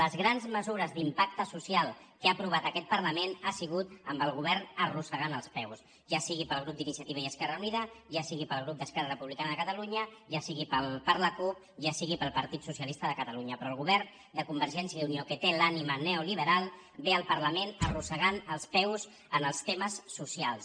les grans mesures d’impacte social que ha aprovat aquest parlament han sigut amb el go·vern arrossegant els peus ja sigui pel grup d’iniciati·va i esquerra unida ja sigui pel grup d’esquerra re·publicana de catalunya ja sigui per la cup ja sigui pel partit socialista de catalunya però el govern de convergència i unió que té l’ànima neoliberal ve al parlament arrossegant els peus en els temes socials